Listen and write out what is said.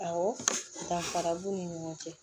Awɔ danfara b'u ni ɲɔgɔn cɛ